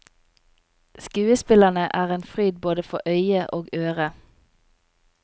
Skuespillerne er en fryd både for øye og øre.